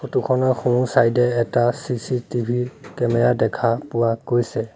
Photo খনৰ সোঁ-ছাইডে এ এটা চি_চি_টি_ভি কেমেৰা দেখা পোৱা গৈছে।